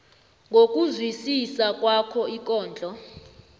ngokuzwisisa kwakho ikondlo